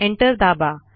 enter दाबा